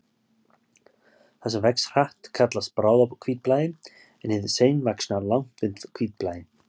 Það sem vex hratt kallast bráðahvítblæði en hið seinvaxna langvinnt hvítblæði.